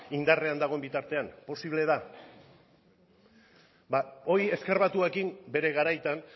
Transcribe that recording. y indarrean dagoen bitartean posible da ba hori ezker batuarekin bere garaitan